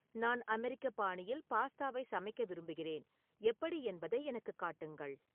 நான் அமெரிக்க பாணியில் பாஸ்தாவை சமைக்க விரும்புகிறேன் எப்படி என்பதை எனக்குக் காட்டுங்கள்